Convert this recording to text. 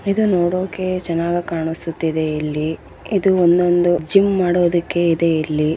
ಇದು ನೋಡೋಕೆ ಚೆನ್ನಾಗಿ ಕಾಣಿಸ್ತಾ ಇದೆ ಇಲ್ಲಿ ಇದು ಒಂದೊಂದು ಜಿಮ್‌ ಮಾಡೋಕೆ ಇದೆ ಇಲ್ಲಿ.